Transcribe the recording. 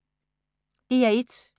DR1